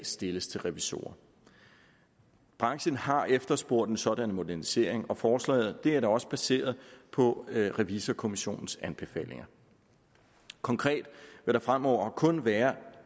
stilles til revisorer branchen har efterspurgt en sådan modernisering og forslaget er da også baseret på revisorkommissionens anbefalinger konkret vil der fremover kun være